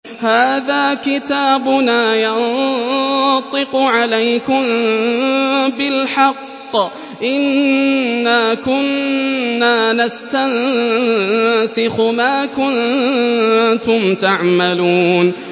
هَٰذَا كِتَابُنَا يَنطِقُ عَلَيْكُم بِالْحَقِّ ۚ إِنَّا كُنَّا نَسْتَنسِخُ مَا كُنتُمْ تَعْمَلُونَ